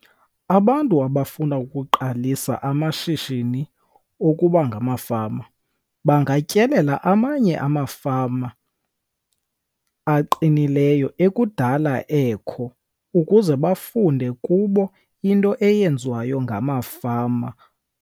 Abantu abafuna ukuqalisa amashishini okuba ngamafama bangatyelela amanye amafama aqinileyo ekudala ekho ukuze bafunde kubo into eyenziwayo ngamafama.